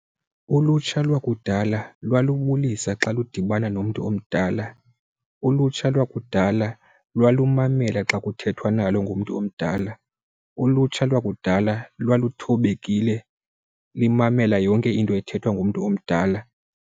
Ulutsha lwakudala lwalubulisa xa lidibana nomntu omdala. Ulutsha lwakudala lwalumamela xa kuthethwa nalo ngumntu omdala. Ulutsha lwakudala lwaluthobekile limamele yonke into ethethwa ngumntu omdala.